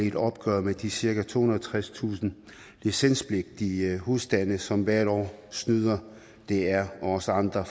et opgør med de cirka tohundrede og tredstusind licenspligtige husstande som hvert år snyder dr og os andre